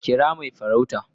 kira Mai farau